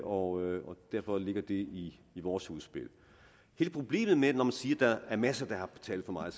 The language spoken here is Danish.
og derfor ligger det i vores udspil hele problemet når man siger der er masser der har betalt for meget